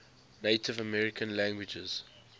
native american languages